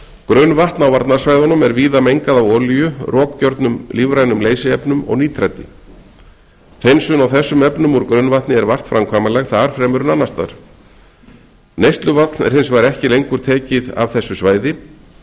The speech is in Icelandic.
grunnvatn á varnarsvæðum er víða mengað af olíu rokgjörnum lífrænum leysiefnum og nítrati hreinsun á þessum efnum úr grunnvatni er vart framkvæmanleg þar fremur en annarsstaðar neysluvatn er ekki lengur tekið úr þessu svæði